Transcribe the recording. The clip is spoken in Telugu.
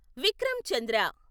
విక్రమ్ చంద్ర